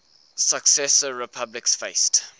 successor republics faced